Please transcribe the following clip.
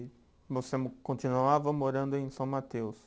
E você mo, continuava morando em São Mateus?